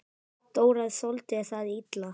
Dóra þoldi það illa.